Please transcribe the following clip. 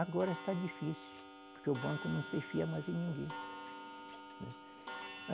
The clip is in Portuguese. Agora está difícil, porque o banco não se fia mais em ninguém.